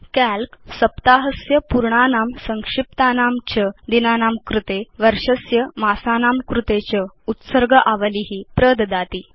काल्क सप्ताहस्य पूर्णानां संक्षिप्तानां च दिनानां कृते वर्षस्य मासानां कृते च उत्सर्ग आवली प्रददाति